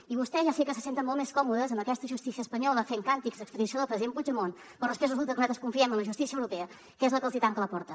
i vostès ja sé que se senten molt més còmodes amb aquesta justícia espanyola fent càntics d’extradició del president puigdemont però després resulta que nosaltres confiem en la justícia europea que és la que els tanca la porta